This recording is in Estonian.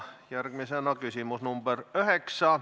Järgmisena küsimus nr 9.